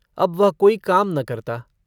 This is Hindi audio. अब वह कोई काम न करता।